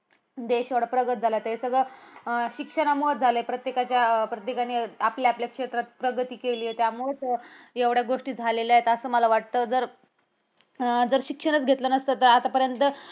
देश एवढा प्रगत झालाय. ते सगळं अं शिक्षणामुळेच झालय प्रत्येकाच्या, प्रत्येकानी आपल्या आपल्या क्षेत्रात प्रगती केली त्यामुळंच एवढ्या गोष्टी झालेल्या आहेत. असं मला वाटतं. जर अं शिक्षणच घेतलं नसतं तर आजपर्यंत